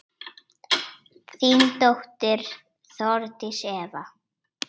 Þín dóttir, Þórdís Eva.